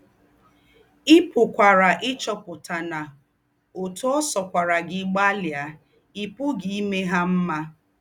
Ì̀ pùkwàrà íchúòputà nà ótú ọ̀ sọ̀kwàrà gí gbálìà, ì̀ pùghí ímè hà m̀mà.